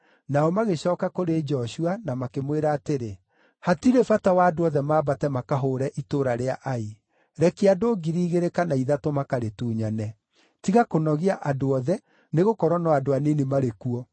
Nao magĩcooka kũrĩ Joshua na makĩmwĩra atĩrĩ, “Hatirĩ bata wa andũ othe mambate makahũũre itũũra rĩa Ai. Rekia andũ 2,000 kana ithatũ makarĩtunyane; tiga kũnogia andũ othe, nĩgũkorwo no andũ anini marĩ kuo.”